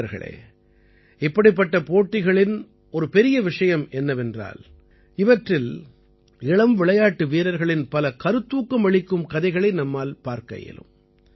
நண்பர்களே இப்படிப்பட்ட போட்டிகளின் ஒரு பெரிய விஷயம் என்னவென்றால் இவற்றில் இளம் விளையாட்டு வீரர்களின் பல கருத்தூக்கம் அளிக்கும் கதைகளை நம்மால் பார்க்க இயலும்